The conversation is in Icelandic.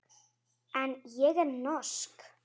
En ég er norsk.